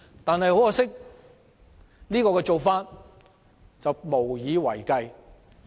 但很可惜，這種做法無以為繼。